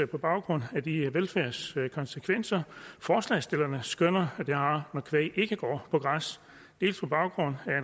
på baggrund af de velfærdskonsekvenser forslagsstillerne skønner det har når kvæg ikke går på græs dels på baggrund